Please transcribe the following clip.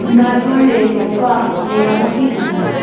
না জুড়লে নৌকা মেরামতি হয় না